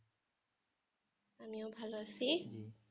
আমিও ভালো আছি